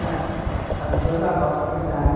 Ah, as duas avós para cuidar, né?